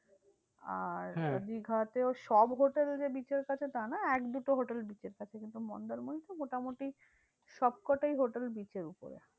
আর দীঘাতেও সব hotel যে beach এর কাছে তা না এক দুটো hotel beach এর কাছে কিন্তু মন্দারমণিতে মোটামুটি সবকটাই hotel beach এর উপরে।